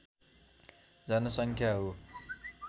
जनसङ्ख्या हो